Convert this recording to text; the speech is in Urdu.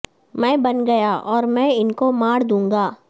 میں بن گیا اور میں ان کو مار دونگا